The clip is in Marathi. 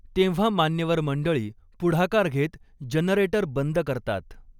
तेव्हा मान्यवर मंडळी पुढाकार घेत जनरेटर बंद करतात.